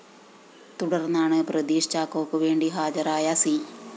തുടര്‍ന്നാണ് പ്രദീഷ് ചാക്കോക്ക് വേണ്ടി ഹാജരായ സി